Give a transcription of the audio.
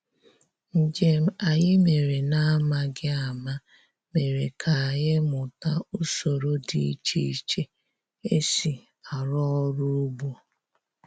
Njem anyị mere na-amaghị ama mere ka anyị mụta usoro dị iche iche e si arụ ọrụ ugbo